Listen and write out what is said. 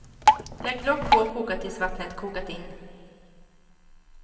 Lägg lock på och koka tills vattnet kokat in.